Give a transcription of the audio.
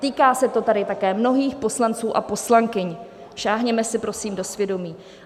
Týká se to tady také mnohých poslanců a poslankyň, sáhněme si, prosím, do svědomí.